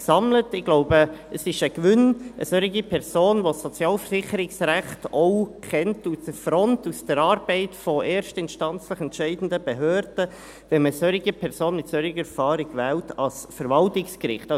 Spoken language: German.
Ich glaube, es ist ein Gewinn, wenn man eine solche Person, mit einer solchen Erfahrung, die das Sozialversicherungsrecht auch von der Front, von der Arbeit der erstinstanzlich entscheidenden Behörden kennt, an das Verwaltungsgericht wählt.